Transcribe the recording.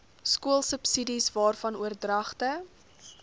skoolsubsidies waarvan oordragte